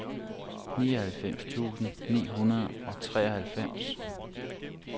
nioghalvfems tusind ni hundrede og treoghalvfems